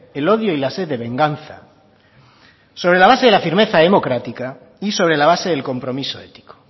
el odio y la sed de venganza sobre la base de la firmeza democrática y sobre la base del compromiso ético